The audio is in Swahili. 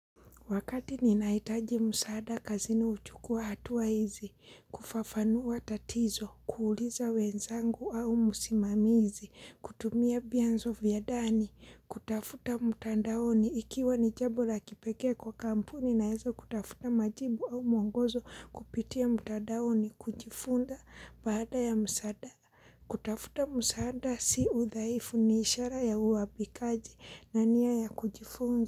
Wakati ninahitaji msaada kazini uchukua hatua hizi, kufafanua tatizo, kuuliza wenzangu au msimamizi, kutumia vyanzo vya ndani, kutafuta mtandaoni, ikiwa ni jambo la kipekee kwa kampuni naweza kutafuta majibu au mwongozo kupitia mtandaoni kujifunza baada ya msaada. Kutafuta msaada si udhaifu ni ishara ya uwabikaji na niya ya kujifunza.